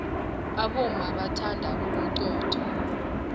abomma bathanda ubuxotho